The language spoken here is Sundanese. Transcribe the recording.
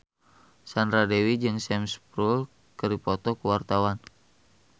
Sandra Dewi jeung Sam Spruell keur dipoto ku wartawan